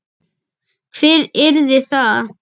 Hver yrði það?